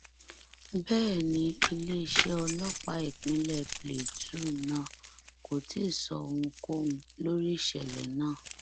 bẹẹ ni iléeṣẹ ọlọpàá ìpínlẹ Plateau náà kò tí ì sọ ohunkóhun lórí ìṣẹlẹ náà